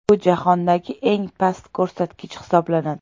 Bu jahondagi eng past ko‘rsatkich hisoblanadi.